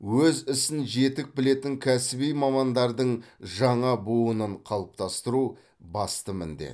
өз ісін жетік білетін кәсіби мамандардың жаңа буынын қалыптастыру басты міндет